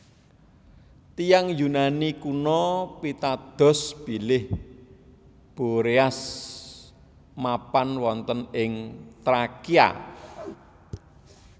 Tiyang Yunani kuno pitados bilih Boreas mapan wonten ing Trakia